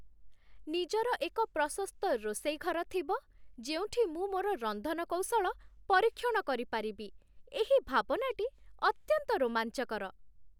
ନିଜର ଏକ ପ୍ରଶସ୍ତ ରୋଷେଇ ଘର ଥିବ, ଯେଉଁଠି ମୁଁ ମୋର ରନ୍ଧନ କୌଶଳ ପରୀକ୍ଷଣ କରିପାରିବି, ଏହି ଭାବନାଟି ଅତ୍ୟନ୍ତ ରୋମାଞ୍ଚକର।